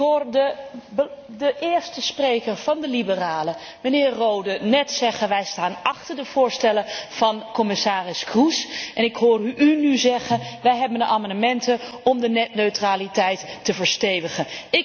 Ik hoorde de eerste spreker van de liberalen, de heer Rohde, net zeggen Wij staan achter de voorstellen van commissaris Kroes, en ik hoor u nu zeggen Wij hebben de amendementen om de netneutraliteit te verstevigen.